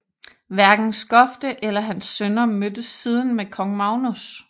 Hverken Skofte eller hans sønner mødtes siden med kong Magnus